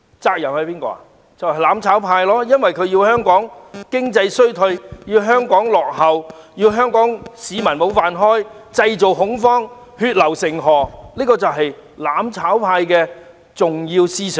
就是"攬炒派"，因為他們想香港經濟衰退和落後於人、弄丟香港市民的"飯碗"，以及製造恐慌和血流成河的局面，這些就是"攬炒派"的重要思想。